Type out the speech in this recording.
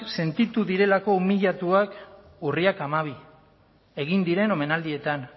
sentitu direlako umiliatuak urriak hamabi egin diren omenaldietan